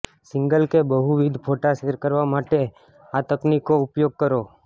single કે બહુવિધ ફોટા શેર કરવા માટે આ તકનીકોનો ઉપયોગ કરો